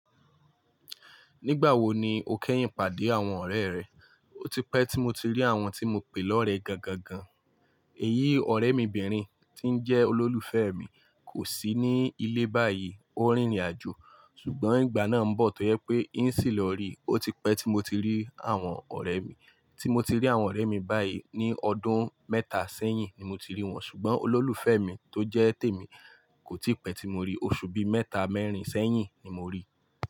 Nígbà wo ni o kẹ́yìn pàdé àwọn ọ̀rẹ́ rẹ? Ó ti pẹ́ tí mo ti rí àwọn tí mo pè lọ́rẹ gangan. Èyí ọ̀rẹ́ mi obìnrin tí ó jẹ́ olólùfẹ́ mi kò sí ní ilé báyìí, ó rìnrìnàjò. Ṣùgbọ́n ìgbà náà ń bọ̀ tó yẹ pé ì ṣì lọ rí. Ó ti pẹ́ tí mo ti rí àwọn ọ̀rẹ́ mi. Tí mo ti rí àwọn ọ̀rẹ́ mi báyìí ní ọdún mẹ́ta sẹ́yìn ni mo ti rí wọn. Ṣùgbọ́n olólùfẹ́ mi tó jẹ́ tèmi kò ti pẹ́ tí mo rí. Oṣù bí mẹ́ta mẹ́rin sẹ́yìn ni mo rí i.